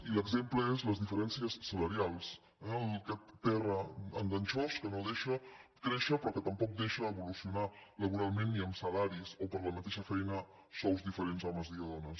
i l’exemple és les diferències salarials eh aquest terra enganxós que no deixa créixer però que tampoc deixa evolucio·nar laboralment ni amb salaris o per la mateixa feina sous diferents a homes i a dones